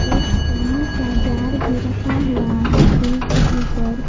एक पानी का जार भी रखा हुआ है टूल के ऊपर।